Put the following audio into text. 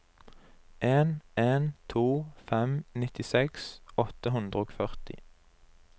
en en to fem nittiseks åtte hundre og førti